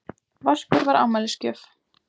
Vaskur var afmælisgjöf.